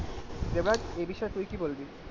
এবার এ বিষয়ে তুই কি বলবি?